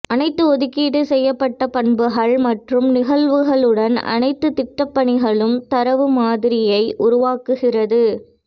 அனைத்து ஒதுக்கீடு செய்யப்பட்ட பண்புகள் மற்றும் நிகழ்வுகளுடன் அனைத்து திட்டப்பணிகளும் தரவு மாதிரியை உருவாக்குகிறது